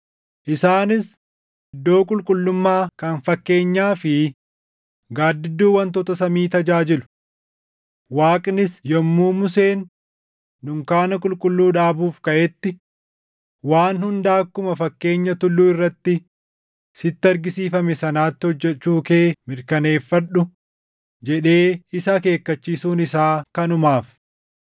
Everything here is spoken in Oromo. Isaanis iddoo qulqullummaa kan fakkeenyaa fi gaaddidduu wantoota samii tajaajilu. Waaqnis yommuu Museen dunkaana qulqulluu dhaabuuf kaʼetti, “Waan hunda akkuma fakkeenya tulluu irratti sitti argisiifame sanaatti hojjechuu kee mirkaneeffadhu!” + 8:5 \+xt Bau 25:40\+xt* jedhee isa akeekkachiisuun isaa kanumaaf.